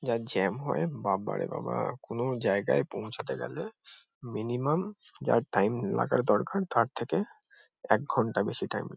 যা জ্যাম হয় বাব্বারে বাবা কোনো জায়গায় পৌঁছাতে গেলে । মিনিমাম যা টাইম লাগার দরকার তার থেকে এক ঘন্টা বেশি টাইম ।